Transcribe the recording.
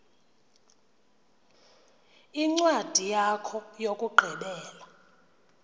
incwadi yakho yokugqibela